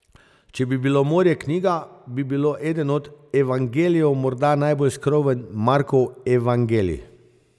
Če bi bilo morje knjiga, bi bilo eden od Evangelijev, morda najbolj skromen, Markov evangelij.